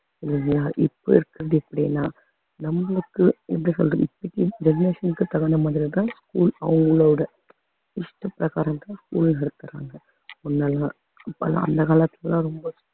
இல்லையா இப்ப இருக்கறது இப்படின்னா நம்மளுக்கு எப்படி சொல்றது generation க்கு தகுந்த மாறித்தான் அவங்களோட இஷ்ட பிரகாரம்தான் இப்ப எல்லாம் அந்த காலத்துக்கெல்லாம் ரொம்ப